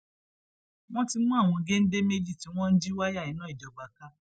wọn ti mú àwọn géńdé méjì tí wọn ń jí wáyà iná ìjọba ká